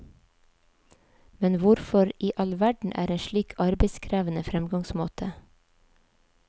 Men hvorfor i all verden en slik arbeidskrevende fremgangsmåte?